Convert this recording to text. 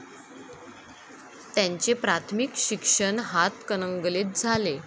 त्यांचे प्राथमिक शिक्षण हातकणंगलेत झाले.